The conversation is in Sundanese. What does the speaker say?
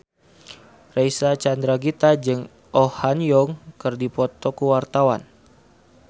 Reysa Chandragitta jeung Oh Ha Young keur dipoto ku wartawan